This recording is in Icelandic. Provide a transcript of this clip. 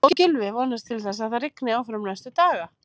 Og Gylfi vonast til þess að það rigni áfram næstu daga?